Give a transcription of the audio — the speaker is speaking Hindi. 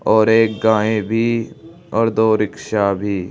और एक गाय भी और दो रिक्शा भी--